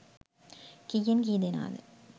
කීයෙන් කී දෙනාද.